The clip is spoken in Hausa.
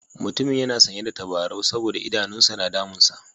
Mutumin yana sanye da tabarau saboda idanun sa na damunsa.